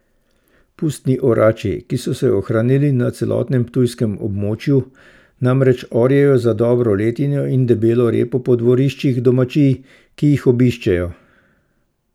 Pustni orači, ki so se ohranili na celotnem ptujskem območju, namreč orjejo za dobro letino in debelo repo po dvoriščih domačij, ki jih obiščejo.